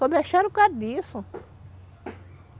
Só deixaram por causa disso.